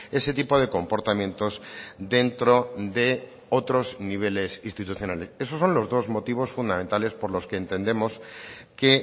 ese tipo de comportamientos dentro de otros niveles institucionales esos son los dos motivos fundamentales por los que entendemos que